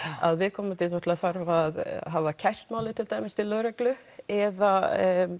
að viðkomandi þarf að hafa kært málið til lögreglu eða